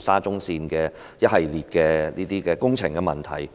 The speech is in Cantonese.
沙田至中環線的一系列工程醜聞及問題。